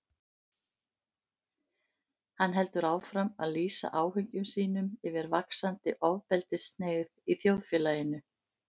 Hann heldur áfram að lýsa áhyggjum sínum yfir vaxandi ofbeldishneigð í þjóðfélaginu.